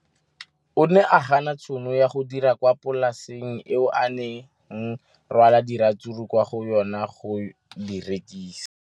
O ne a gana tšhono ya go dira kwa polaseng eo a neng rwala diratsuru kwa go yona go di rekisa.